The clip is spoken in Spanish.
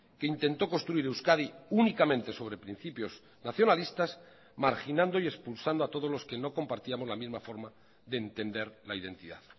que intentó construir euskadi únicamente sobre principios nacionalistas marginando y expulsando a todos los que no compartíamos la misma forma de entender la identidad